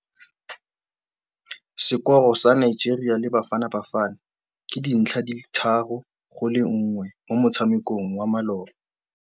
Sekôrô sa Nigeria le Bafanabafana ke 3-1 mo motshamekong wa malôba.